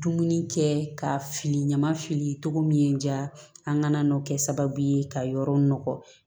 Dumuni kɛ ka fili ɲama fili cogo min diya an ka n'o kɛ sababu ye ka yɔrɔ nɔgɔ